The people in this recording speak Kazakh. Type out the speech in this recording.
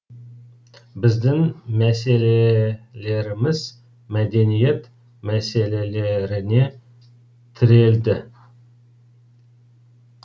біздің мәселелеріміз мәдениет мәселелеріне тірелді